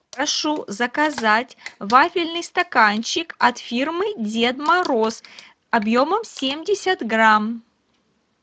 прошу заказать вафельный стаканчик от фирмы дед мороз объемом семьдесят грамм